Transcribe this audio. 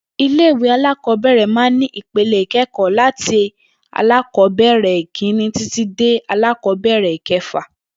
Ilé ìwé alákò̩ó̩bè̩rè̩ máa ń ní ipele ìké̩kò̩ó̩ láti alákò̩ó̩bè̩rè̩ ìkíni títí dé alákò̩ó̩bè̩rè̩ ìke̩fà